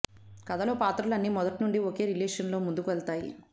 కథలో పాత్రలు అన్నీ మొదటినుండి ఒకే రిలేషన్ తో ముందుకు వెళతాయి